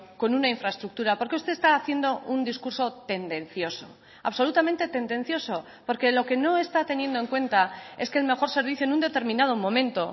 con una infraestructura porque usted está haciendo un discurso tendencioso absolutamente tendencioso porque lo que no está teniendo en cuenta es que el mejor servicio en un determinado momento